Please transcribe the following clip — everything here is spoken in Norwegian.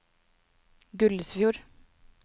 Gullesfjord